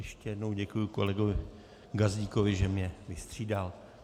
Ještě jednou děkuji kolegovi Gazdíkovi, že mne vystřídal.